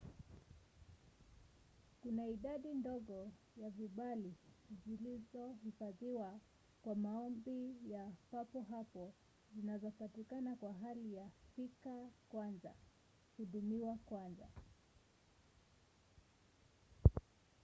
kuna idadi ndogo ya vibali zilizohifadhiwa kwa maombi ya papo hapo zinazopatikana kwa hali ya fika kwanza hudumiwa kwanza